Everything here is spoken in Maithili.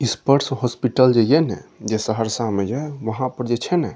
स्पर्श हॉस्पिटल जे यै ना जे सहरसा में जै वहाँ पर जे छै न --